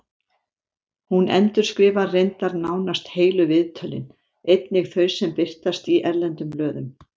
Hún endurskrifar reyndar nánast heilu viðtölin, einnig þau sem birtast í erlendum blöðum.